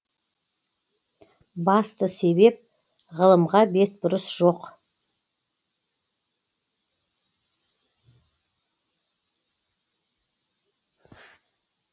басты себеп ғылымға бетбұрыс жоқ